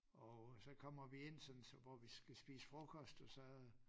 Og så kommer vi ind sådan så hvor vi skal spise frokost og så